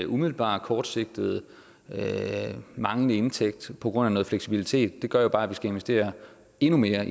umiddelbar kortsigtet manglende indtægt på grund af noget fleksibilitet det gør jo bare at vi skal investere endnu mere